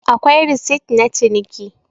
akwai resit na ciniki